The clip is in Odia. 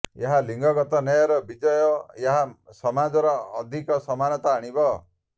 ଏହା ଲିଙ୍ଗଗତ ନ୍ୟାୟର ବିଜୟ ଓ ଏହା ସମାଜରେ ଅଧିକ ସମାନତା ଆଣିବ